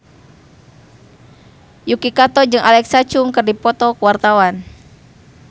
Yuki Kato jeung Alexa Chung keur dipoto ku wartawan